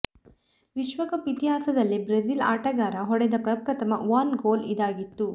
ವಿಶ್ವಕಪ್ ಇತಿಹಾಸದಲ್ಲೇ ಬ್ರೆಜಿಲ್ ಆಟಗಾರ ಹೊಡೆದ ಪ್ರಪ್ರಥಮ ಓನ್ ಗೋಲ್ ಇದಾಗಿತ್ತು